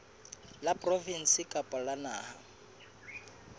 la provinse kapa la naha